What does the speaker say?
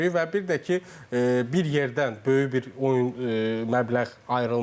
Və bir də ki, bir yerdən böyük bir oyun məbləğ ayrılmalıdır.